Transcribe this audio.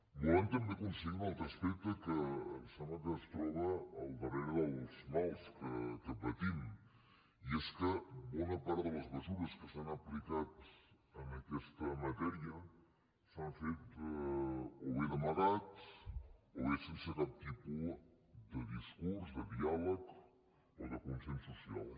volem també aconseguir un altre aspecte que em sembla que es troba al darrere dels mals que patim i és que bona part de les mesures que s’han aplicat en aquesta matèria s’han fet o bé d’amagat o bé sense cap tipus de discurs de diàleg o de consens social